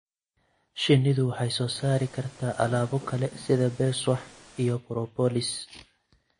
Shinnidu waxay soo saari kartaa alaabo kale sida beeswax iyo propolis.